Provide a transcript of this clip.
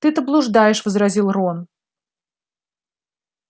ты-то блуждаешь возразил рон